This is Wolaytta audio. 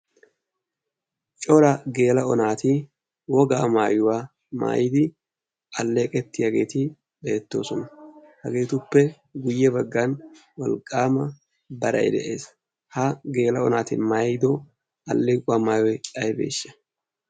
cora geela7o naati wogaa maayuwaa maayidi alleeqettiyaageeti beettoosona. hageetuppe guyye baggan walqqaama darai de7ees. ha geela7o naati maayido alleequwaa maayua aibeeshsha?